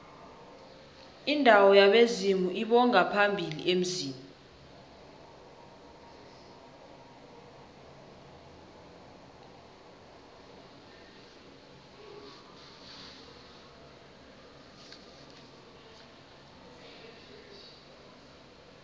indawo yabezimu lbongaphambili emzini